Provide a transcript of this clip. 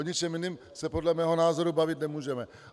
O ničem jiném se podle mého názoru bavit nemůžeme.